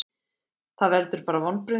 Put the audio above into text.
Það veldur bara vonbrigðum.